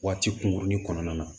Waati kunkurunin kɔnɔna na